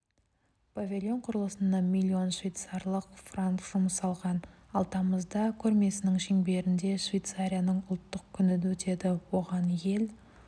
павильон құрылысына миллион швейцарлық франк жұмсалған ал тамызда көрмесінің шеңберінде швейцарияның ұлттық күні өтеді оған ел